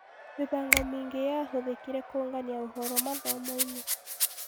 Mĩbango mĩingĩ yahũthĩkire kũũngania ũhoro mathomo-inĩ